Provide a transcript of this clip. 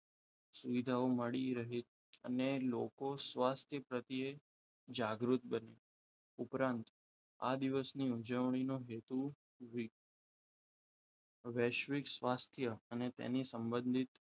સુવિધાઓ મળી રહે અને લોકો સ્વાસ્થ્ય પ્રત્યે જાગૃત બની ઉપરાંત આ દિવસની ઉજવણી નો હેતુ વૈશ્વિક સ્વાસ્થ્ય અને તેને સંબંધિત